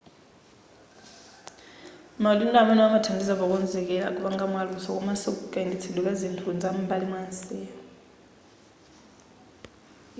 maubale amenewa amathandiza pokonzekera kupanga mwa luso komaso kayendetsedwe kazinthu zam'mbali mwamsewu